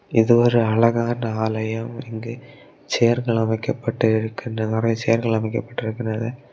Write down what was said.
இது ஒரு அழகான ஆலயம் இங்கு சேர்கள் அமைக்கப்பட்டு இருக்கின்ற நெறைய சேர்கள் அமைக்கப்பட்டு இருக்கின்றது.